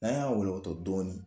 N'an y'a wɔlɔkɔtɔ dɔɔnin